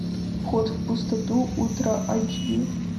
вход в пустоту ультра айч ди